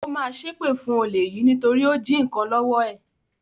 Ó ma ṣépè fún olè yìí nítorí ó jí nnkan lọ́wọ́ ẹ̀